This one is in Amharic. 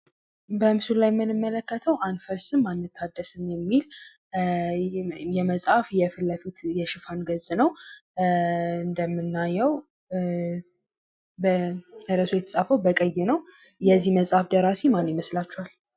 በምስሉ ላይ የምንመለከተው አንፈርስም አንታደስም የሚል የመጽሀፍት የፉት ለፊት የሽፋን ገጽ ነው። እንደምናየው ርዕሱ የተጻፈው በቀይ ነው። የዚህ መጽሀፍ ደራሲ ማን ይመስላችኃል?